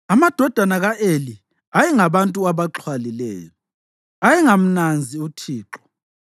Amadodana ka-Eli ayengabantu abaxhwalileyo, ayengamnanzi uThixo.